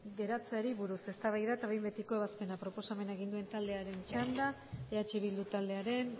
geratzeari buruz eztabaida eta behin betiko ebazpena proposamena egin duen taldearen txanda eh bildu taldearen